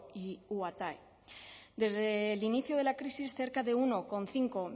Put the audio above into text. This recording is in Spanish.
y uatae desde el inicio de la crisis cerca de uno coma cinco